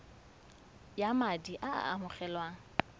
ya madi a a amogelwang